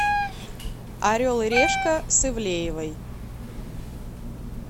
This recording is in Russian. орел и решка с ивлеевой